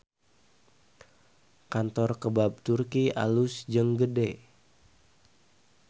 Kantor Kebab Turki alus jeung gede